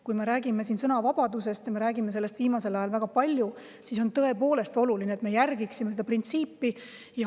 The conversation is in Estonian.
Kui me räägime sõnavabadusest – ja me räägime sellest viimasel ajal väga palju –, siis on oluline, et me tõepoolest seda printsiipi järgiksime.